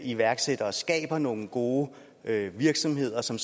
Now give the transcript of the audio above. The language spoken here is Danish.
iværksættere og skaber nogle gode virksomheder som